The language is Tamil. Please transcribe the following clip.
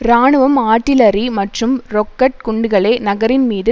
இராணுவம் ஆட்டிலறி மற்றும் ரொக்கட் குண்டுகளை நகரின் மீது